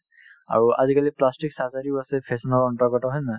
আৰু আজিকালি plastic surgery ও আছে fashion ৰ অন্তৰ্গত হয় নে নহয়